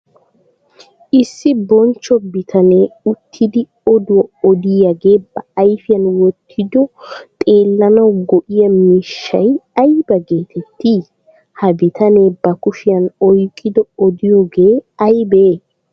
Issi bonchcho bitanne uttidi oduwa odiyaage ba ayfiyan wotido xeellanawu go'iyaa miishshay ayba geetetti? Ha bitanne ba kushiyan oyqqidi odiyooge aybe?